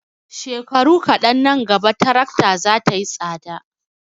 Shekaru kaɗan nan gaba tarakta za ta yi tsada.